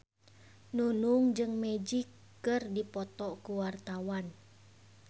Nunung jeung Magic keur dipoto ku wartawan